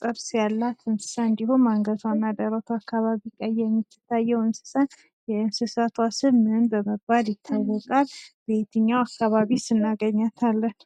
ጥርስ ያላት እንስሳ እንዲሁም አንገቷ ላይ እና ደረቷ ላይ ቀይ የምትታየው እንስሳ የእንስሳትዋ ስም ምን በመባል የእንስሳትዋ ስም ምን በመባል ይታወቃል በየትኛው አካባቢስ እናገኛታለን?